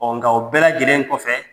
Ɔ nka o bɛɛ lajɛlenlen kɔfɛ